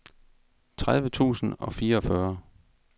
tredive tusind og fireogfyrre